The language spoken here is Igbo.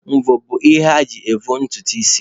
Mvọ bụ ihe eji avọ ntutu isi